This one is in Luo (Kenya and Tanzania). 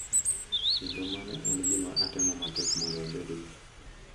Kendo mano en gima atemo matek mondo abedgo.